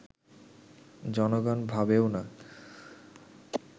জনগণ ভাবেও না